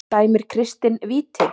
Dæmir Kristinn víti?